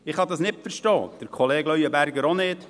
Ich kann das nicht verstehen, Kollege Leuenberger auch nicht.